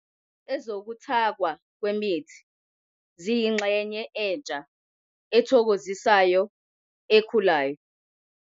Ezokuthakwa kwemithi ziyingxenye entsha ethokozisayo ekhulayo.